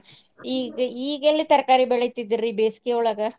ಈಗ ಈಗೆಲ್ಲಿ ತರಕಾರಿ ಬೆಳಿತಿದ್ರ್ರಿ ಬೇಸಗಿಯೊಳಗ?